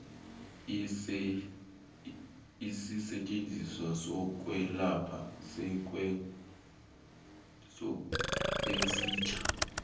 isisetjenziswa sokwelapha esitjha